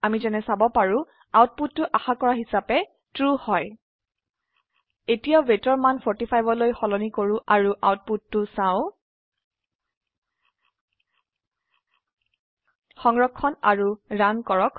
আমি যেনে চাব পাৰো আউটপুটটো আশা কৰা হিচাবে ট্ৰু হয় এতিয়া weightৰ মান 45লৈ সলনি কৰো আৰু আউটপুটটো চাও সংৰক্ষণ কৰক আৰু ৰান কৰক